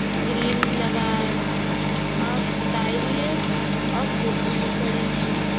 Green भी लगा है और पुताई भी हेै और कुर्सी भी पड़ी है।